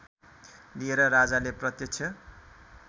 लिएर राजाले प्रत्यक्ष